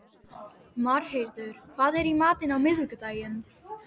Marheiður, hvað er í matinn á miðvikudaginn?